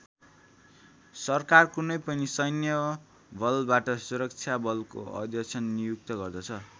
सरकार कुनै पनि सैन्य बलबाट सुरक्षा बलको अध्यक्ष नियुक्त गर्दछ ।